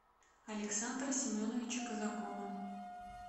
александра семеновича казакова